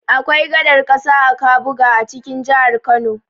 Akwai gadar ƙasa a Kabuga a cikin jihar Kano.